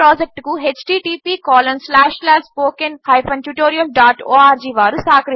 ఈ ప్రాజెక్ట్కు httpspoken tutorialorg